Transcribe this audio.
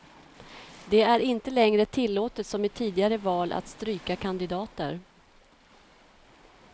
Det är inte längre tillåtet som i tidigare val att stryka kandidater.